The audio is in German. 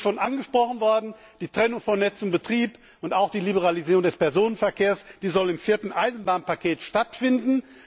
Es ist vorhin angesprochen worden, die Trennung von Netz und Betrieb und auch die Liberalisierung des Personenverkehrs sollen im Vierten Eisenbahnpaket stattfinden.